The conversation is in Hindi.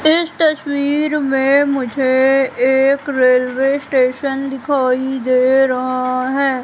इस तस्वीर में मुझे एक रेलवे स्टेशन दिखाई दे रहा है।